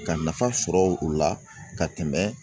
Ka nafa sɔrɔ u la ka tɛmɛ